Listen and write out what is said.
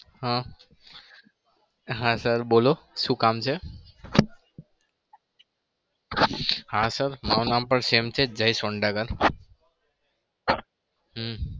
હા હા. sir બોલો શું કામ છે? હા. sir મારું નામ પણ same છે જય સોંડાગર હમ